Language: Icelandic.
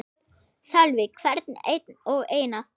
Sölvi: Hvern einn og einasta?